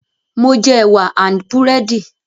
Mo ti jẹ ẹwà and búrẹ́dì